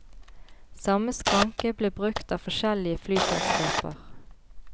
Samme skranke ble brukt av forskjellige flyselskaper.